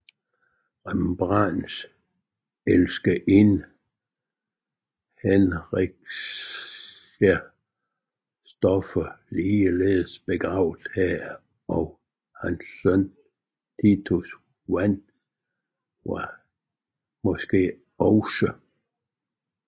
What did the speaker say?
Rembrandts elskerinde Hendrickje Stoffels er ligeledes begravet her og hans søn Titus van Rijn er måske også